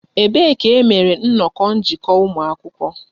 Ebee ka e mere nnọkọ njikọ ụmụ akwụkwọ?